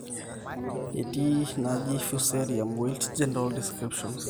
etii enaji fusarium wilt general descriptions